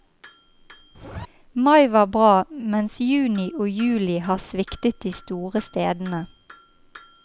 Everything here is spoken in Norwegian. Mai var bra, mens juni og juli har sviktet de store stedene.